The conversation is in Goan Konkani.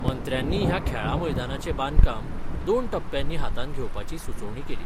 मंत्र्यानी हया खेळां मैदानाचे बांदकाम दोन टप्प्यांनी हातात घेवपाची सूचोवणी केली.